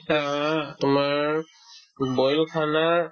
আ তোমাৰ উম boil ও khana ই